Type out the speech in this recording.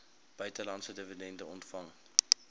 buitelandse dividende ontvang